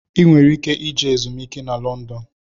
ị nwere ike ije ezumiike na London.